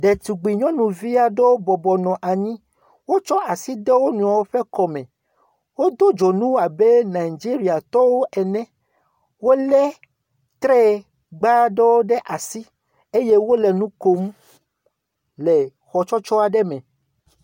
Ɖetugbi nyɔnuvi aɖewo bɔbɔnɔ anyi. Wotsɔ asi de wo nɔewo ƒe kɔme. Wotɔ dzonu abe Nigeriatɔwo ene. Wole treyegba ɖewo ɖe asi eye wole nu kom le xɔ tsɔtsɔ aɖe me.